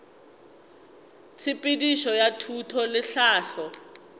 tshepedišo ya thuto le tlhahlo